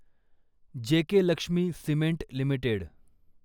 JK Lakshmi cement limited